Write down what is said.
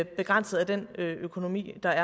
begrænset af den økonomi der